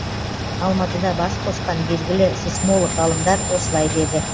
алматыда бас қосқан белгілі сейсмолог ғалымдар осылай деді